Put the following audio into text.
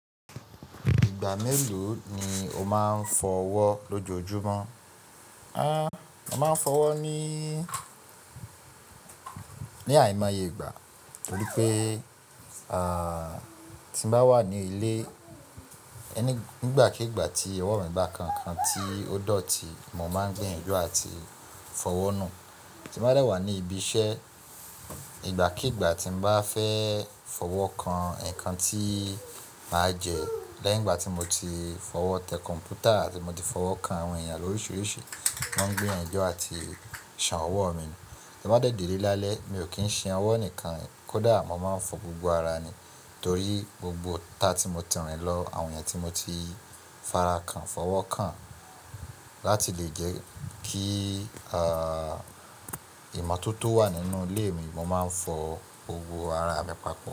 Ìgbà mélòó ni o máa ń fọ́wọ́ lójoojúmọ́? A, mo máa ń fọ́wọ́ ní, ní àìmọye ìgbà, torí pé, ah, tí mo bá wà ní ilé, ẹni-- nígbàkigbà tí owo mi bá kan nǹkan tí ó dọ̀tí, mo máa ń gbiyanju àti fọ́wọ́ nù. Tí mo bá dẹ wà ní ibi iṣẹ́, ìgbàkígbà tí mo bá fẹ́ fọ́wọ́ kan nǹkan tí màá jẹ, lẹ́yìn ìgbà tí mo ti fọwọ́ tẹ kọ̀m̀pútà àti mo ti fọwọ́ kan àwọn èèyàn lóríṣiríṣi, máa gbiyanju àti ṣan ọwọ́ mi nù. Tí mo bá dẹ̀dẹ̀ lé lálẹ́, mi ò kí ń ṣan ọwọ́ nìkan, kó dà mọ́ máa ń fọ gbogbo ara mi torí gbogbo ita tí mo ti rìn lọ, àwọn ẹ̀yàn tí mo ti fara kan, fọwọ́ kan, láti lè jẹ́ kí, ah, ìmọ́tótó wà nínú ilé mi, mo máa ń fọ gbogbo ara mi papọ̀